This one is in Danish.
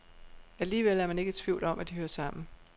Alligevel er man ikke i tvivl om, at de hører sammen.